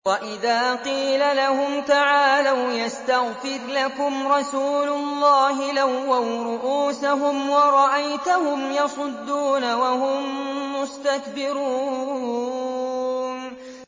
وَإِذَا قِيلَ لَهُمْ تَعَالَوْا يَسْتَغْفِرْ لَكُمْ رَسُولُ اللَّهِ لَوَّوْا رُءُوسَهُمْ وَرَأَيْتَهُمْ يَصُدُّونَ وَهُم مُّسْتَكْبِرُونَ